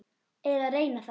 Eða reyna það.